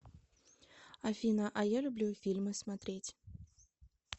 афина а я люблю фильмы смотреть